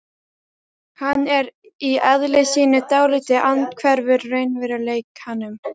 Hann er í eðli sínu dálítið andhverfur raunveruleikanum.